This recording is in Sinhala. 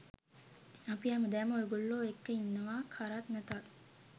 අපි හැමදාම ඔයගොල්ලෝ එක්ක ඉන්නවා කරත් නැතත්.